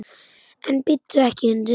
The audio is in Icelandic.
En bíttu ekki, hundur!